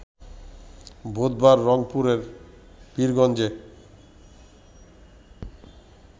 বুধবার রংপুরের পীরগঞ্জে